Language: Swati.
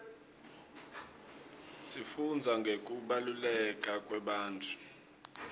sifundza ngekubaluleka kwebantfu